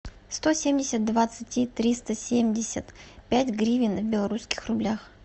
сто семьдесят двадцать триста семьдесят пять гривен в белорусских рублях